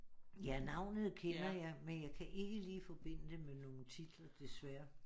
Ja navnet kender jeg men jeg kan ikke lige forbinde det med nogen titler desværre